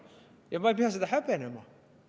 Ja ma ei pea seda häbenema.